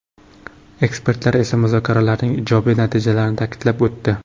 Ekspertlar esa muzokaralarning ijobiy natijalarini ta’kidlab o‘tdi.